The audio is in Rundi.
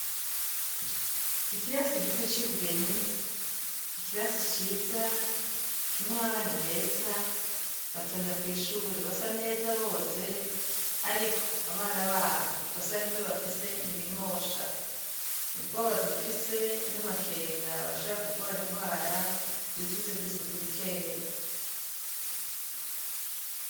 Ikirasi gito c'i Bugeni, ikirasi ciza kirimwo abana beza, batonda kw'ishure basa neza boze, ariko abana baho ikosa rimwe bafise ntibimosha. Ubwoba dufise n'amakenga barashobora kugwara ingwara ziturutse kw'isuku rikeya.